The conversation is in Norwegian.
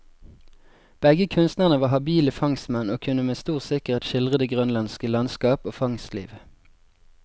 Begge kunstnerne var habile fangstmenn, og kunne med stor sikkerhet skildre det grønlandske landskap og fangstliv.